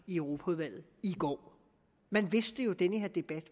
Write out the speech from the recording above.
i europaudvalget i går man vidste jo at den her debat